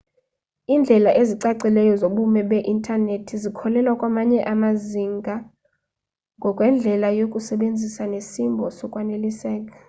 indlela ezicacileyo zobume be internethi zikhokhela kwamanye amazinga ngokwendlela yokuyisebenzisa nesimbo sokwaneliseka